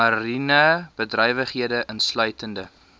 mariene bedrywighede insluitende